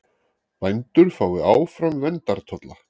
Bændur fái áfram verndartolla